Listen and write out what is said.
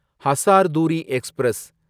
Hazarduari express